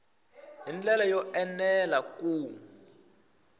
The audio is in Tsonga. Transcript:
hi ndlela yo enela ku